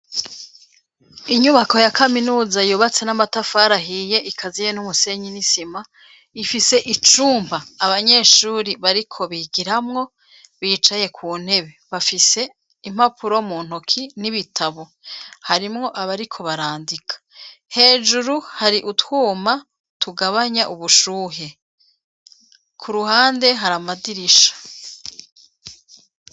Inyubako ya kaminuza, yubatse n'amatafari ahiye, ikaziye n'umusenyi n'isima; ifise icumba, abanyeshuri bariko bigiramwo, bicaye ku ntebe; bafise impapuro mu ntoki, n'ibitabo; harimwo abariko barandika; hejuru, hari utwuma, tugabanya ubushuhe, ku ruhande hari amadirisha.